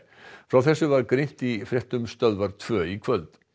frá þessu var greint í fréttum Stöðvar tvö í kvöld